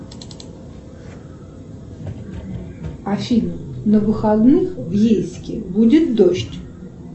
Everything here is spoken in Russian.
афина на выходных в ейске будет дождь